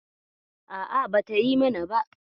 A'a, bata yi mana ba.